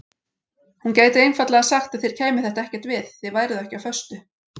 Hún gæti einfaldlega sagt að þér kæmi þetta ekkert við, þið væruð ekki á föstu.